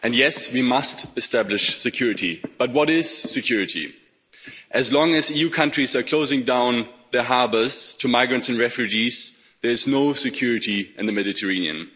Yes, we must establish security, but what is security? As long as EU countries are closing down their harbours to migrants and refugees, there is no security in the Mediterranean.